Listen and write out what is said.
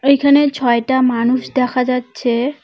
এখানে ছয়টা মানুষ দেখা যাচ্ছে।